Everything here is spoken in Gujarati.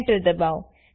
Enterદબાવો